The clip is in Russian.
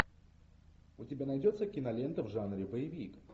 у тебя найдется кинолента в жанре боевик